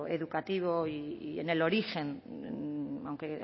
educativo y en el origen aunque